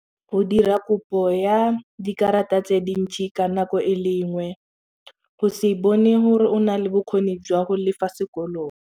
Go dira kopo ya dikarata tse dintsi ka nako e lenngwe go se bone gore o nale bokgoni jwa go lefa sekolong.